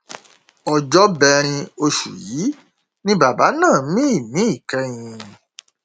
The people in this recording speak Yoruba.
ọjọbẹrin oṣù yìí ni bàbá náà mí ìmí ìkẹyìn